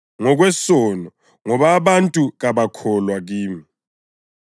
ngokwesono, ngoba abantu kabakholwa kimi;